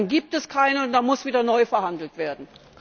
Dann gibt es keine und dann muss wieder neu verhandelt werden.